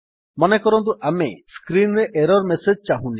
ମନେକରନ୍ତୁ ଆମେ ସ୍କ୍ରୀନ୍ ରେ ଏରର୍ ମେସେଜ୍ ଚାହୁଁନେ